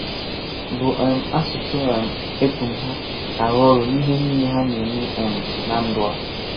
Bụ̀ um asụsụ um e pụ̀m ha, arụ ọrụ n’ihe niile ha na-eme um n’ndụ a.